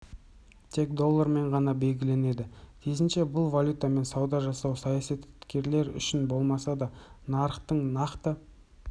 тек доллармен ғана белгіленеді тиісінше бұл валютамен сауда жасау саясаткерлер үшін болмаса да нарықтың нақты